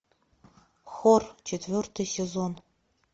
хор четвертый сезон